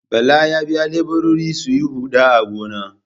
Bala ya biya leburori su yi huɗa a gona.